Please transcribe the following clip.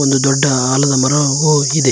ಒಂದು ದೊಡ್ಡ ಆಲದ ಮರವು ಇದೆ.